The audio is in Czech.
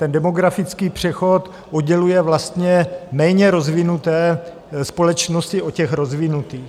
Ten demografický přechod odděluje vlastně méně rozvinuté společnosti od těch rozvinutých.